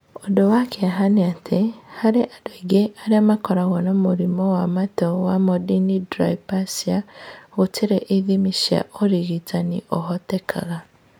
Ũndũ wa kĩeha nĩ atĩ, harĩ andũ aingĩ arĩa makoragwo na mũrimũ wa matũ wa Mondini dysplasia, gũtirĩ ithimi cia ũrigitani ũhotekaga.